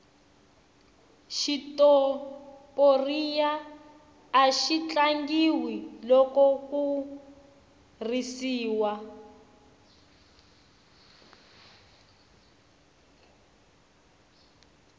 xitoporiya axi tlangiwa loko ku risiwa